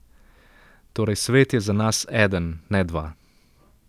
Torej svet je za nas eden, ne dva.